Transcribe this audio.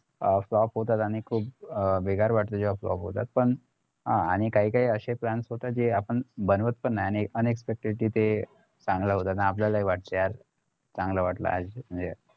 हा flop होतात आणि खुप बेकार वाटत जेव्हा flop होतात पण अं आणि काही काही असे plans होतात जे आपण बनवत पण नाय आणि unexpected जिथे चांगलं होतात आणि आपल्याला पण वाटत यार चांगलं वाटलं नाही का